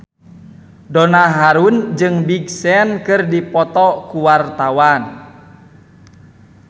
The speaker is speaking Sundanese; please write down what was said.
Donna Harun jeung Big Sean keur dipoto ku wartawan